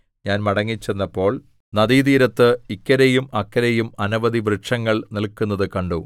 ഞാൻ മടങ്ങിച്ചെന്നപ്പോൾ നദീതീരത്ത് ഇക്കരെയും അക്കരെയും അനവധി വൃക്ഷങ്ങൾ നില്ക്കുന്നതു കണ്ടു